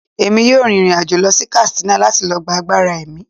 Emi yọọ rín irín-ajo lọ sí Katsina lati lo gba àgbará emí